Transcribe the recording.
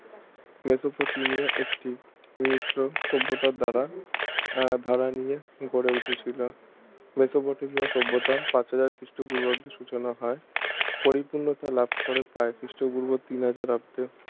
Mesopotamia একটি সভ্যতার দ্বারা আহ ধারা নিয়ে গড়ে উঠেছিল মেসোপটেমিয়া সভ্যতার পাঁচ হাজার খ্রিস্ট পূর্বাব্দে সুচনা হয় পরিপূর্ণতা লাভ করে প্রায় খ্রিস্টপূর্ব তিন হাজার অব্দে